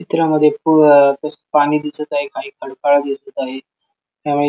चित्रामध्ये प अ पाणी दिसत आहे काही खडकाळ दिसत आहे आणि--